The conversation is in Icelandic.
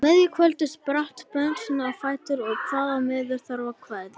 Á miðju kvöldi spratt Benediktsson á fætur og kvaðst því miður þurfa að kveðja.